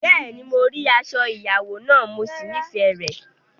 Bẹ́ẹ̀ni, mo rí aṣọ ìyàwó náà, mo sì nífẹ̀ẹ́ rẹ̀.